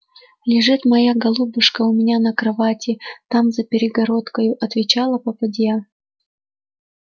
лежит моя голубушка у меня на кровати там за перегородкою отвечала попадья